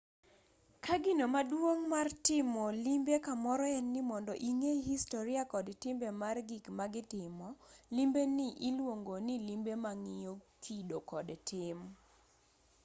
ka gino maduong' mar timo limbe kamoro en ni mondo ing'e historia kod timbe mar gik magitimo limbeni iluongoni limbe mang'iyo kido kod tim